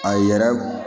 A yɛrɛ